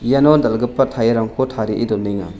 iano dal·gipa tyre-rangko tarie donenga.